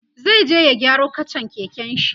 zai je ya gyaro kachan keken shi